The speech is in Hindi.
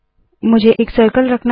मुझे एक सर्कल रखना है